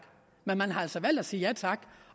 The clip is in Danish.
men man har altså valgt at sige ja tak